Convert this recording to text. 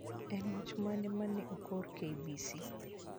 En wach mane ma ne okor KBC